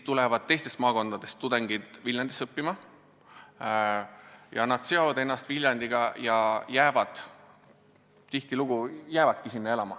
Teistest maakondadest tulevad tudengid Viljandisse õppima, nad seovad ennast Viljandiga ja tihtilugu jäävadki sinna elama.